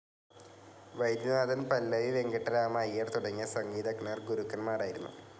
വൈദ്യനാഥൻ, പല്ലവി വെങ്കിട്ടരാമ അയ്യർ തുടങ്ങിയ സംഗീതജ്ഞർ ഗുരുക്കൻമാരായിരുന്നു.